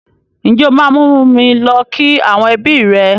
Ǹjẹ́ o máa mú mi lọ kí àwọn ẹbí rẹ?